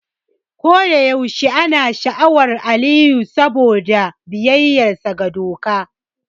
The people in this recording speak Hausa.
A kodayaushe ina sha'awar Aliyu saboda biyayyarsa ga doka.